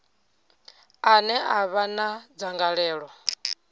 ane a vha na dzangalelo